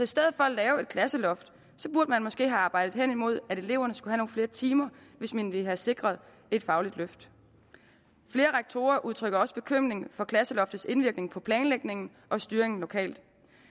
stedet for at lave et klasseloft burde man måske have arbejdet henimod at eleverne skulle have nogle flere timer hvis man ville have sikret et fagligt løft flere rektorer udtrykker også bekymring for klasseloftets indvirkning på planlægningen og styringen lokalt